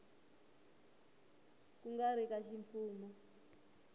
ku nga ri ka ximfumo